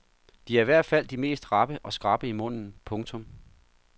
De er i hvert fald de mest rappe og skrappe i munden. punktum